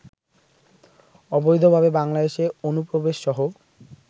অবৈধভাবে বাংলাদেশে অনুপ্রবেশসহ